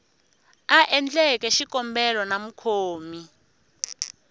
a endleke xikombelo na mukhomi